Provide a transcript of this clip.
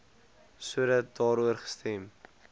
sodat daaroor gestem